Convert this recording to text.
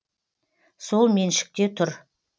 сол меншікте тұр